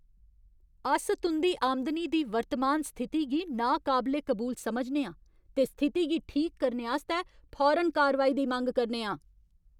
अस तुं'दी आमदनी दी वर्तमान स्थिति गी नाकाबले कबूल समझने आं ते स्थिति गी ठीक करने आस्तै फौरन कारवाई दी मंग करने आं।